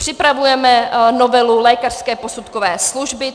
Připravujeme novelu lékařské posudkové služby.